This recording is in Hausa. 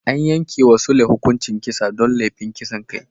An yanke wa Sule hukuncin kisa don laifin kisan kai.